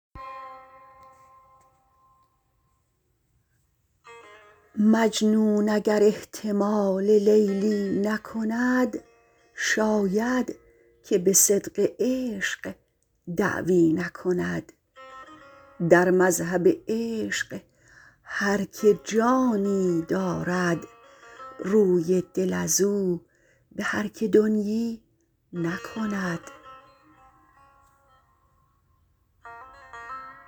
مجنون اگر احتمال لیلی نکند شاید که به صدق عشق دعوی نکند در مذهب عشق هر که جانی دارد روی دل ازو به هر که دنیی نکند